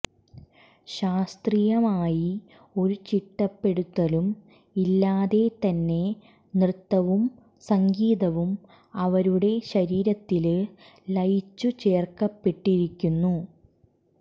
ശാസ്ത്രീയമായി ഒരു ചിട്ടപ്പെടുത്തലും ഇല്ലാതെതന്നെ നൃത്തവും സംഗീതവും അവരുടെ ശാരീരത്തില് ലയിച്ചു ചേര്ക്കപ്പെട്ടിരിക്കുന്നു